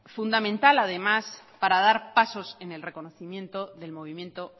fundamental además para dar pasos en el reconocimiento del movimiento